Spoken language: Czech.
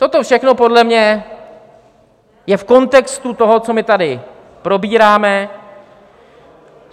Toto všechno podle mě je v kontextu toho, co my tady probíráme.